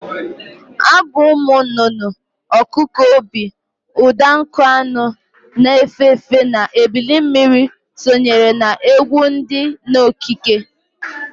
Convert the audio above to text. Abụ ụmụ nụnụnụ, ọkụkụ obi, ụda nkụ anụ na-efe efe na ebilimmiri sonyere na egwụ di n'okike.